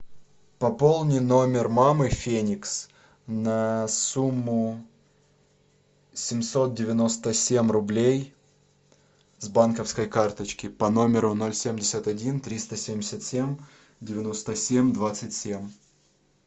пополни номер мамы феникс на сумму семьсот девяносто семь рублей с банковской карточки по номеру ноль семьдесят один триста семьдесят семь девяносто семь двадцать семь